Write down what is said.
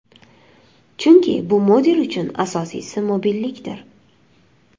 Chunki, bu model uchun asosiysi mobillikdir.